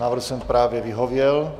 Návrhu jsem právě vyhověl.